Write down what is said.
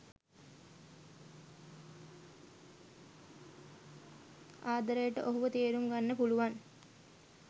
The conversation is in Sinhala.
ආදරයට ඔහුව තේරුම් ගන්න පුළුවන්